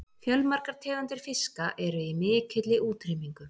Fjölmargar tegundir fiska eru í mikilli útrýmingu.